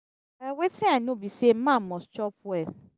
well wetin i know be say man must chop well.